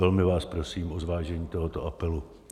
Velmi vás prosím o zvážení tohoto apelu.